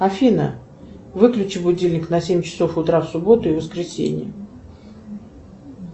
афина выключи будильник на семь часов утра в субботу и воскресенье